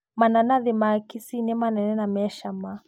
Mananathi ma kisii nĩ manene na me cama.